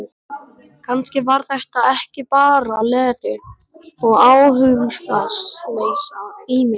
Kannski var þetta ekki bara leti og áhugaleysi í mér.